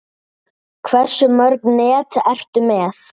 Hversu mörg net ertu með?